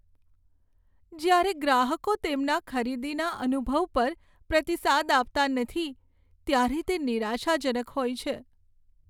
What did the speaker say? જ્યારે ગ્રાહકો તેમના ખરીદીના અનુભવ પર પ્રતિસાદ આપતા નથી, ત્યારે તે નિરાશાજનક હોય છે.